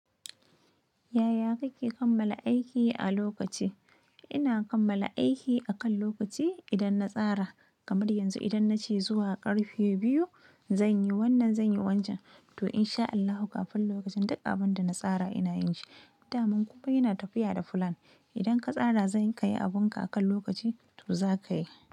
Yaya kake kammala aiki a lokaci? Ina kammala aiki akan lokaci idan na tsara, kamar yanzu idan na ce zuwa ƙarfe biyu zan yi wannan, zan yi wancan to in sha Allahu kafin lokacin duk abin da na tsara ina yin shi. Daman ni inna tafiya da flan Idan ka tsara zan ka yi abunka akan lokaci to za ka yi.